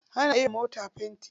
Ana iya yi wa mota fenti.